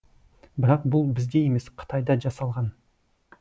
бірақ бұл бізде емес қытайда жасалған